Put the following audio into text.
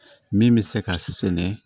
Min bɛ se ka sɛnɛ